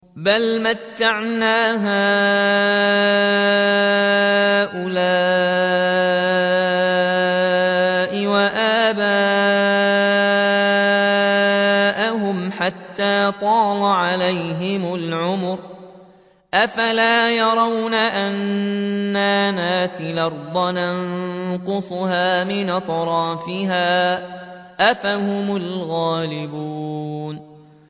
بَلْ مَتَّعْنَا هَٰؤُلَاءِ وَآبَاءَهُمْ حَتَّىٰ طَالَ عَلَيْهِمُ الْعُمُرُ ۗ أَفَلَا يَرَوْنَ أَنَّا نَأْتِي الْأَرْضَ نَنقُصُهَا مِنْ أَطْرَافِهَا ۚ أَفَهُمُ الْغَالِبُونَ